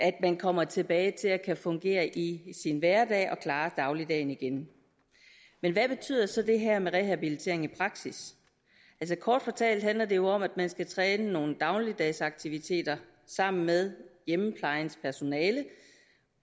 man kommer tilbage og kan fungere i sin hverdag og klare dagligdagen igen men hvad betyder så det her med rehabilitering i praksis altså kort fortalt handler det jo om at man skal træne nogle dagligdags aktiviteter sammen med hjemmeplejens personale